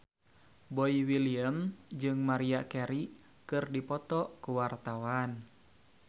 Boy William jeung Maria Carey keur dipoto ku wartawan